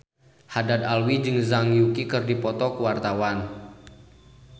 Haddad Alwi jeung Zhang Yuqi keur dipoto ku wartawan